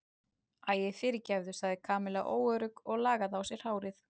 Æi, fyrirgefðu sagði Kamilla óörugg og lagaði á sér hárið.